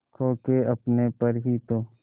खो के अपने पर ही तो